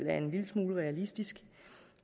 er en lille smule realistisk